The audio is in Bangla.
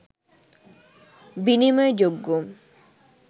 বিনিময় যোগ্য